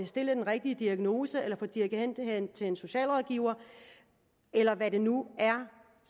stillet den rigtige diagnose eller blive dirigeret hen til en socialrådgiver eller hvad det nu er